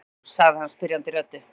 Já? sagði hann spyrjandi röddu.